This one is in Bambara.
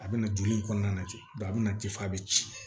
A bɛna joli in kɔnɔna lajɛ a bɛna tefan bɛ ci